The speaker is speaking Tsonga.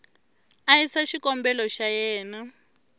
a yisa xikombelo xa yena